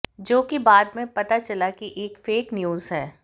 जो कि बाद मैं पता चला कि एक फेक न्यूज है